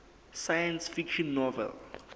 science fiction novel